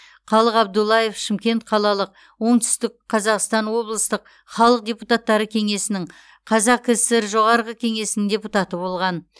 қалық абдуллаев шымкент қалалық оңтүстік қазақстан облыстық халық депутаттары кеңесінің қазақкср жоғарғы кеңесінің депутаты болған